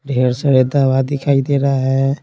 ढेर सारे दावा दिखाई दे रहा है।